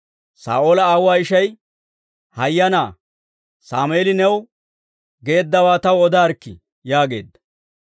Saa'oola aawuwaa ishay, «Hayyanaa Sammeeli new geeddawaa taw odaarikkii» yaageedda.